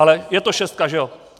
Ale je to šestka, že jo?